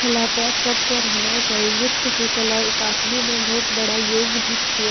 कला तो सबके रहना चाहिए नृत्य के कला एक अपने में बहुत बड़ा योग भी छे।